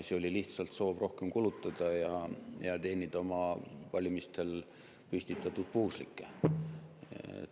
See oli lihtsalt soov rohkem kulutada ja teenida oma valimistel püstitatud puuslikke.